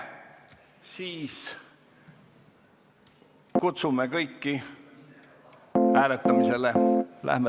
Siis kutsume kõiki hääletusele.